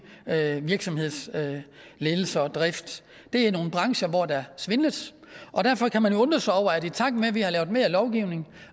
virksomhedsledelse og drift det er nogle brancher hvor der svindles og derfor kan man undre sig over at i takt med at vi har lavet mere lovgivning